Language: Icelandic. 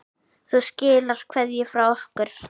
Þú skilar kveðju frá okkur.